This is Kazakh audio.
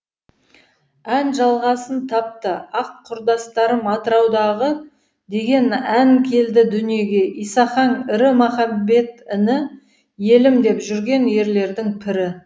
ән жалғасын тапты аққұрдастарым атыраудағы деген ән келді дүниеге исақаң ірі махамбет іні елім деп жүрген ерлердің пірі